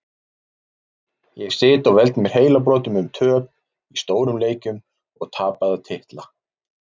Ég sit og veld mér heilabrotum um töp í stórum leikjum og tapaða titla.